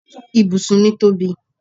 Ibùsùn mi tóbi